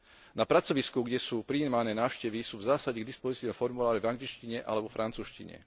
Na pracovisku, kde sú prijímané návštevy, sú v zásade k dispozícii formuláre v angličtine alebo vo francúzštine.